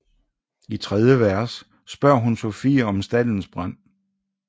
I tredje vers spørger hun Sofie om staldens brand